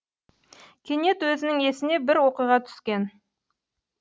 кенет өзінің есіне бір оқиға түскен